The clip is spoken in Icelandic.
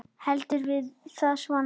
Heldur var það svona!